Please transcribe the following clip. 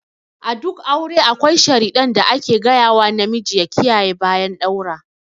A duk aure akwai sharidan da ake ga yawa namiji ya kiyaye bayan ɗaura.